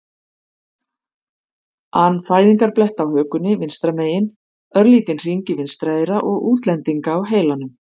an fæðingarblett á hökunni vinstra megin, örlítinn hring í vinstra eyra og útlendinga á heilanum.